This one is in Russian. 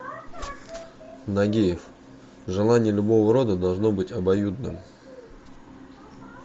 нагиев желание любого рода должно быть обоюдным